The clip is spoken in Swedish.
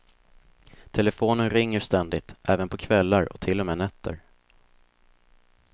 Telefonen ringer ständigt, även på kvällar och till och med nätter.